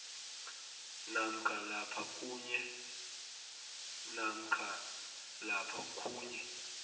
namkha lapha khunye